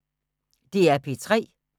DR P3